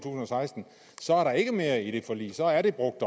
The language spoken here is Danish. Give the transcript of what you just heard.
seksten så er der ikke mere i det forlig så er det brugt